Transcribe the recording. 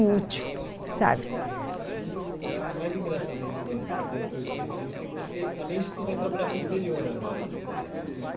útil, sabe? E o mais engraçado ainda agora, para concluir esse pensamento, é que você, além de tudo, vai trabalhar com o interior agora. Você